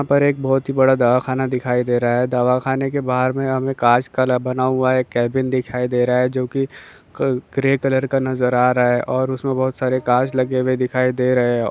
यहाँ पर एक बहुत बड़ा दवाखाना दिखाई दे रहा हैं। दवाखाना के बहार मे हमें कांच का बना हुआ केबिन दिखाई दे रहा हैं। जो की ग्रे कलर का नजर आ रहा हैं। और उस मे बहुत सारे कांच लगे हुए दिखाई दे रहे हैं।